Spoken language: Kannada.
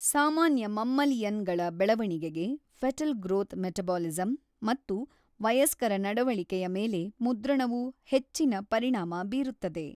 ಸಾಮಾನ್ಯ ಮಮ್ಮಲಿಅನ್ ಗಳ ಬೆಳವಣಿಗೆಗೆ ಫೆಟಲ್ ಗ್ರೋಥ್ ಮೆಟಬೋಲಿಸಂ ಮತ್ತು ವಯಸ್ಕರ ನಡವಳಿಕೆಯ ಮೇಲೆ ಮುದ್ರಣವು ಹೆಚ್ಚಿನ ಪರಿಣಾಮ ಬೀರುತ್ತದೆ.